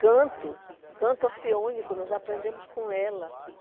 Canto, canto orfeônico, nós aprendemos com ela.